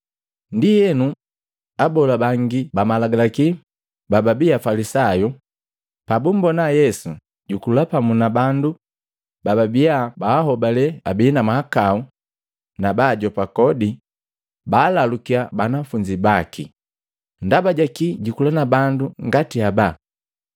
Ndienu, Abola bangi ba Malagalaki bababii Afalisayu, pabumbona Yesu jukula pamu na bandu bababia baholale abii na mahakau na baajopa kodi, baalalukya banafunzi baki, “Ndaba jakii jukula na bandu ngati haba?”